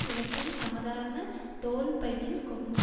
இவற்றை சாதாரண தோள்பையில் கொண்டு